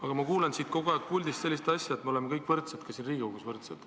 Aga ma kuulen siit puldist kogu aeg sellist asja, et me oleme kõik võrdsed, ka siin Riigikogus võrdsed.